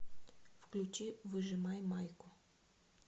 включи выжимай майку